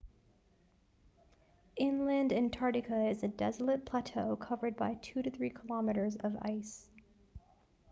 inland antarctica is a desolate plateau covered by 2-3 km of ice